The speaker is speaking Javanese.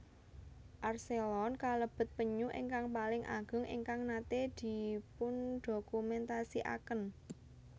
Archelon kalebet penyu ingkang paling ageng ingkang naté dipundokumentasikaken